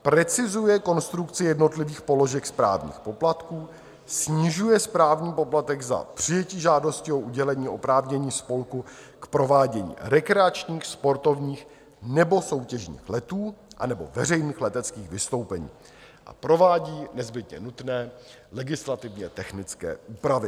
Precizuje konstrukci jednotlivých položek správních poplatků, snižuje správní poplatek za přijetí žádosti o udělení oprávnění spolku k provádění rekreačních, sportovních nebo soutěžních letů anebo veřejných leteckých vystoupení a provádí nezbytně nutné legislativně technické úpravy.